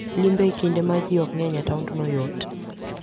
Limbe e kinde ma ji ok ng'eny e taondno yot.